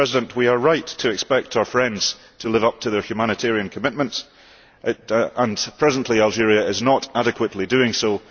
We are right to expect our friends to live up to their humanitarian commitments, and presently Algeria is not adequately doing so.